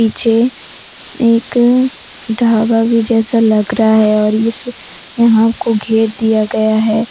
पीछे एक ढाबा भी जैसा लग रहा है और इस यहां को घेर दिया गया है।